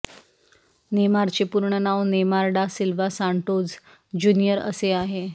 नेमारचे पूर्ण नांव Neymar da Silva Santos junior असे आहे